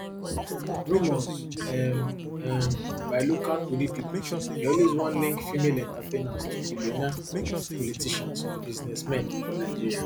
rumours um um by local tori pipo dey always wan link female entertainers to billionaire politicians or businessmen for nigeria